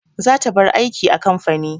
Zata bar aiki a kamfani.